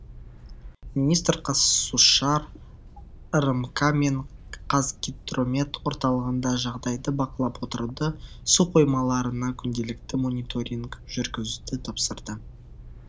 министр қаз су шар рмк мен қазгидромет орталығына жағдайды бақылап отыруды су қоймаларына күнделікті мониторинг жүргізуді тапсырды